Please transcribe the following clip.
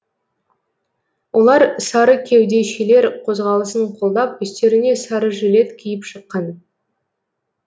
олар сары кеудешелер қозғалысын қолдап үстеріне сары жилет киіп шыққан